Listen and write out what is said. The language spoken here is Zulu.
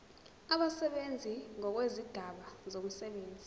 abasebenzi ngokwezigaba zomsebenzi